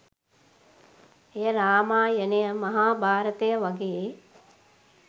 එය රාමායනය, මහභාරතය වගේ